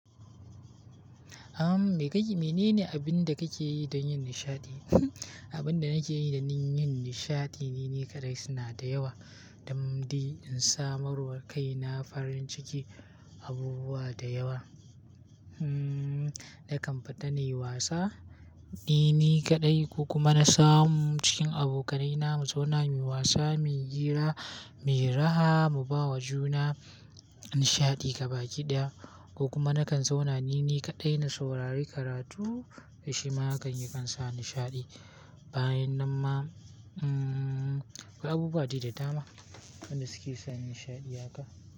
Am menene abin da kake yi don yin nishaɗi? Abin da nake yi don yin nishaɗi ni ni kaɗai suna da yawa. Don dai in sa marwar kaina farin ciki, abubuwa da yawa. Hmm nakan fita na yi wasa ni ni kaɗai, ko kuma na samu cikin abokanaina mu zauna muyi wasa, muyi hira, muyi raha, mu bawa juna nishaɗi gaba ɗaya. Ko kuma na kan zauna ni ne kaɗai, na saurari karatu. Dan shi ma haka yakan sa nishaɗi. Bayan nan ma, hmm akwai abubuwa da dama wanda suke sa nishaɗi haka.